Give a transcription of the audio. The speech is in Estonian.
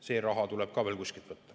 See raha tuleb ka veel kuskilt võtta.